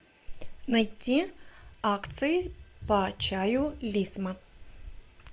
найти акции по чаю лисма